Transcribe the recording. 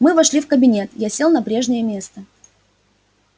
мы вошли в кабинет я сел на прежнее место